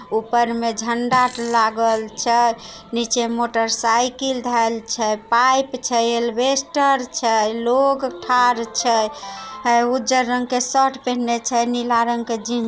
ऊपर में झंडा लागल छै। नीचे में मोटरसाइकिल धेल छै। पाइप छै एल्वेलस्टर छै लोग ठार छै उज्जर रंग के शर्ट पहिनने छै नीला रंग के जीन--